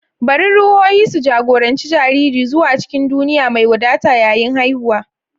Bari ruhohi su jagoranci jariri zuwa cikin duniya mai wadata yayin haihuwa.